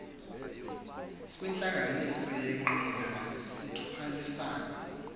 kwintlanganiso yenqila sithwalisana